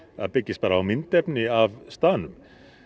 byggist bara á myndefni af staðnum